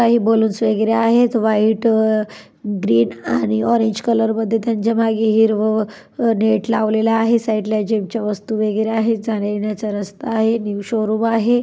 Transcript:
काही बलून्स वगैरे आहेत. व्हाइट ग्रीन आणि ऑरेंज कलर मध्ये त्यांच्या माघे हिरव नेट लावलेला आहे. साइडला जीम चे वस्तु वगैरे आहेत. जाण्यायेण्याचा रस्ता आहे. न्यू शोरूम आहे.